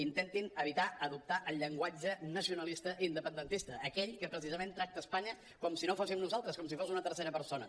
intentin evitar d’adoptar el llenguatge nacionalista i independentista aquell que precisament tracta espanya com si no fóssim nosaltres com si fos una tercera persona